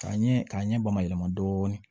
K'a ɲɛ k'a ɲɛ bamayɛlɛma dɔɔnin